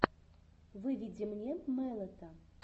выведи мне мэлэта